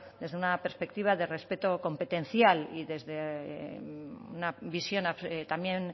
desde una perspectiva de respeto competencial y desde una visión también